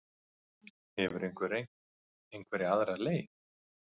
Hefurðu reynt einhverja aðra leið?